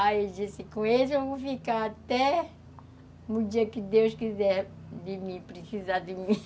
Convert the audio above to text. Aí eu disse, com ele eu vou ficar até o dia que Deus quiser de mim, precisar de mim